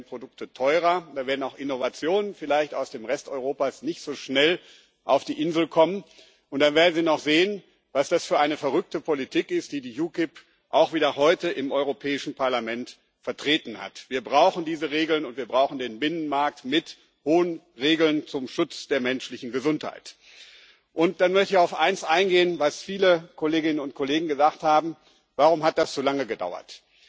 Da werden Produkte teurer, da werden auch Innovationen vielleicht aus dem Rest Europas nicht so schnell auf die Insel kommen, und da werden sie noch sehen, was das für eine verrückte Politik ist, die die UKIP auch heute wieder im Europäischen Parlament vertreten hat. Wir brauchen diese Regeln, und wir brauchen den Binnenmarkt mit hohen Regeln zum Schutz der menschlichen Gesundheit. Und dann möchte auf eins eingehen, was viele Kolleginnen und Kollegen gesagt haben Warum hat das so lange gedauert?